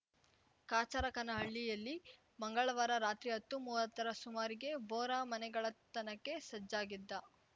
ಕಾಚರಕನಹಳ್ಳಿಯಲ್ಲಿ ಮಂಗಳವಾರ ರಾತ್ರಿ ಹತ್ತುಮುವತ್ತರ ಸುಮಾರಿಗೆ ಬೋರಾ ಮನೆಗಳ್ಳತನಕ್ಕೆ ಸಜ್ಜಾಗಿದ್ದ